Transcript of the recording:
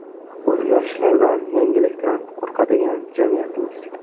O‘zgarishlardan, yangilikdan qo‘rqadigan jamiyatmiz.